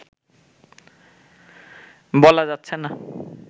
বলা যাচ্ছেনা